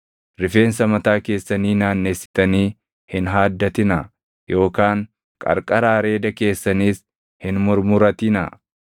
“ ‘Rifeensa mataa keessanii naannessitanii hin haaddatinaa yookaan qarqara areeda keessaniis hin murmuratinaa.